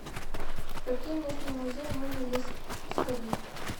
в какие местные музеи можно здесь сходить